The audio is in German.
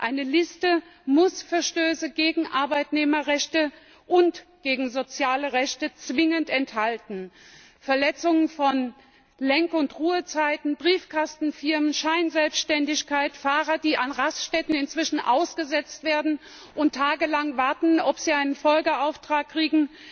Eine Liste muss Verstöße gegen Arbeitnehmerrechte und gegen soziale Rechte zwingend enthalten. Verletzungen von Lenk und Ruhezeiten, Briefkastenfirmen, Scheinselbständigkeit, Fahrer, die an Raststätten inzwischen ausgesetzt werden und tagelang warten, ob sie einen Folgeauftrag kriegen,